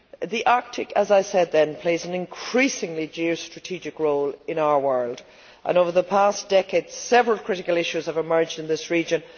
The Arctic, as I said then, plays an increasingly important geostrategic role in our world, and over the past decade several critical issues have emerged in this region.